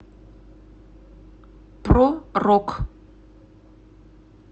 про рок